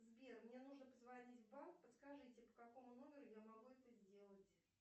сбер мне нужно позвонить в банк подскажите по какому номеру я могу это сделать